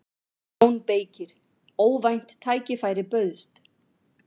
JÓN BEYKIR: Óvænt tækifæri bauðst.